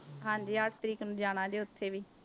ਹਾਂਜੀ ਅੱਠ ਤਰੀਕ ਨੂੰ ਜਾਣਾ ਜੀ ਉੱਥੇ ਵੀ।